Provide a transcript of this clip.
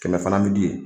Kɛmɛ fana bi di yen